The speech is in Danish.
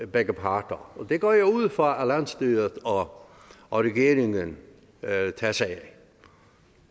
begge parter og det går jeg ud fra at landsstyret og regeringen tager sig af